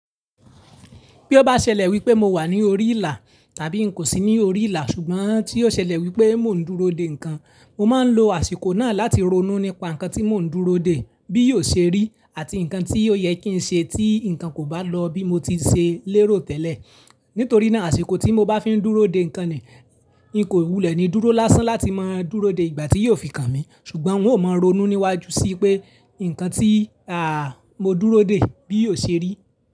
Bí ó bá ṣẹlẹ̀ wípé mo wà ní orí ìlà tàbí n kò sí ní orí ìlà ṣùgbọ́n tí ó ṣẹlẹ̀ wípé mò ń dúró de ǹkan, mo máa ń lo àsìkò náà láti ronú nípa ǹkan tí mò ń dúró de bí yóò ṣe rí àti ǹkan tí ó yẹ kí ń ṣe tí ǹkan kò bá lọ bí mo ti ṣe lérò tẹ́lẹ̀. Nítorí náà àsìkò tí mo bá fi ń dúró de ǹkan ni n kò wulẹ̀ ni dúró lásán láti máa dúró de ìgbà tí yóò fi kàn mí ṣùgbọ́n n ó máa ronú níwájú sí pé ǹkan tí à à à mo dúró de bí yóò ṣe rí.